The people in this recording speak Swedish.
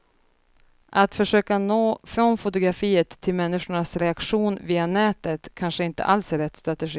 Att försöka nå från fotografiet till människors reaktion via nätet kanske inte alls är rätt strategi.